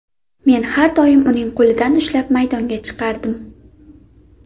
Men har doim uning qo‘lidan ushlab maydonga chiqardim.